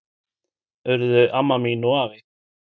Urðu amma mín og afi.